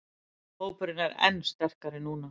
Hópurinn er enn sterkari núna